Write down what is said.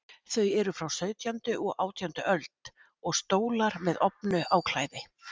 Þau eru frá sautjándu og átjándu öld, og stólar með ofnu áklæði.